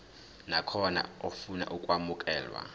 nakhona ofuna ukwamukelwa